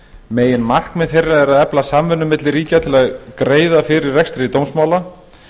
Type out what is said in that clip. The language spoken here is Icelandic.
meginmarkmið þeirra er að efla samvinnu milli ríkja til að greiða fyrir rekstri dómsmála